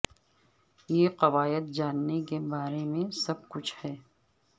یہ قواعد جاننے کے بارے میں سب کچھ ہے